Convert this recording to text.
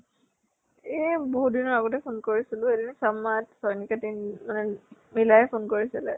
এ বহুত দিনৰ আগতে phone কৰিছিলো সেদিনা মিলাই phone কৰিছিলে ।